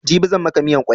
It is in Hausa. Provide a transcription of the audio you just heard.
Jibi zan maka miyan kwai